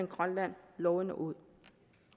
grønland lovende ud